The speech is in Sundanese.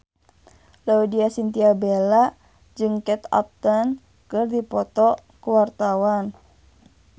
Laudya Chintya Bella jeung Kate Upton keur dipoto ku wartawan